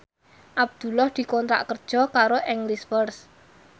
Abdullah dikontrak kerja karo English First